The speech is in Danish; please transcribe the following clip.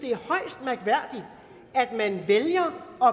at at man vælger at